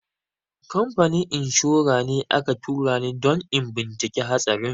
Kamfanin inshora ne aka tura ni don in bincika hatsarin.